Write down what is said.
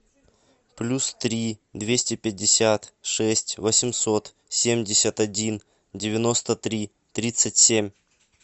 плюс три двести пятьдесят шесть восемьсот семьдесят один девяносто три тридцать семь